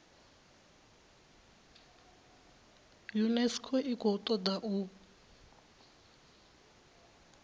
unesco i khou toda u